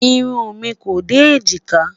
irún mí kò dé ejika